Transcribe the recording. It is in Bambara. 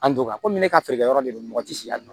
An donna komi ne ka feerekɛyɔrɔ de don mɔgɔ ti si yan nɔ